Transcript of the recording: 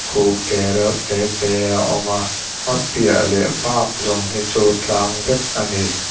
te reuh te te a awm a a piah leh bak zawng hi chu tlang vek a ni.